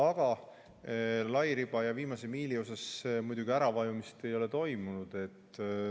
Aga lairiba ja viimase miili teemadel muidugi äravajumist ei ole toimunud.